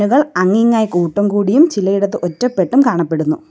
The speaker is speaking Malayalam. അങ്ങിങ്ങായി കൂട്ടം കൂടിയും ചിലയിടത്ത് ഒറ്റപ്പെട്ടും കാണപ്പെടുന്നു.